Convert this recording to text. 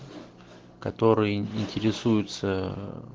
которые интересуются